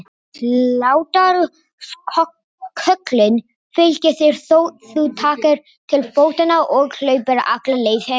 Hlátrasköllin fylgja þér þótt þú takir til fótanna og hlaupir alla leið heim.